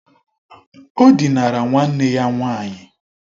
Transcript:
O dinara nwanne ya nwaanyị.